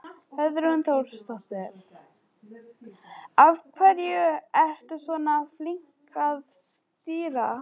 Hrund Þórsdóttir: Af hverju ertu svona flink að stýra?